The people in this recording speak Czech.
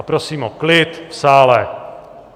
A prosím o klid v sále.